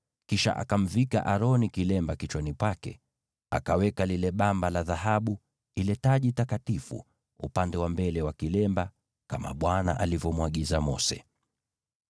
Kisha akamvika Aroni kilemba kichwani pake, akaweka lile bamba la dhahabu, yaani ile taji takatifu, upande wa mbele wa kilemba, kama Bwana alivyomwagiza Mose.